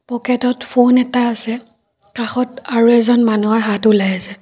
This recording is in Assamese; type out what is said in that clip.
প'কেট ত ফোন এটা আছে কাষত আৰু এজন মানুহৰ হাত ওলাই আছে।